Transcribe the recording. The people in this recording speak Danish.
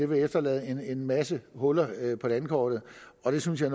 vil efterlade en en masse huller på landkortet og det synes jeg